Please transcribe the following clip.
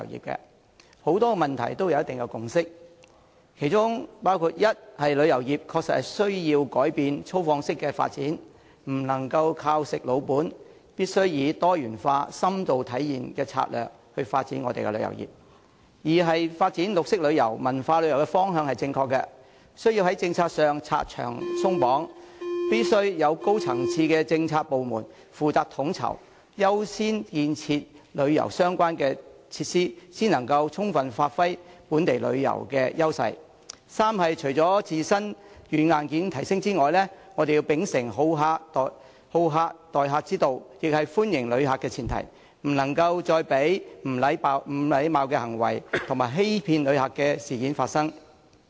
大家在很多問題上都有一定的共識，其中包括：一，旅遊業確實需要改變粗放式的發展，不能"食老本"，我們必須以多元化、深度體驗的策略發展旅遊業；二，發展綠色旅遊和文化旅遊的方向是正確的，政府必須在政策上拆牆鬆綁，指派高層次的政策部門負責統籌，優先建設旅遊相關設施，才能充分發揮本地旅遊資源的優勢；三，除了提升香港本身的軟、硬件外，我們還要秉承好客之道，這是歡迎旅客的前提，不能再讓不禮貌的行為和欺騙旅客的事件發生。